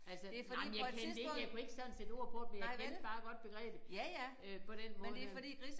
Altså nej men jeg kendte ikke jeg kunne ikke sådan sætte ord på det men jeg kendte bare godt begrebet øh på den måde der